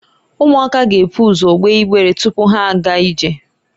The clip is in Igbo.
Ụmụaka ga-ebu ụzọ egbe ịgbere tupu ha aga ije.